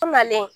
Malen